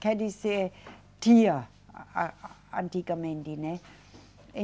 Quer dizer, tinha, a, antigamente, né?